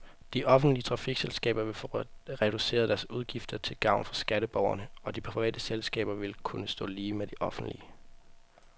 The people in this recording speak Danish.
De offentlige trafikselskaber vil få reduceret deres udgifter til gavn for skatteborgerne, og de private selskaber vil kunne stå lige med de offentlige.